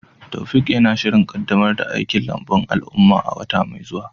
Taofiq yana shirin kaddamar da aikin lambun al'umma a wata mai zuwa.